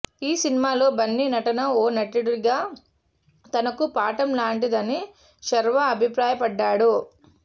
ఈ సినిమాలో బన్నీ నటన ఓ నటుడిగా తనకు పాఠం లాంటిదని శర్వా అభిప్రాయపడ్డాడు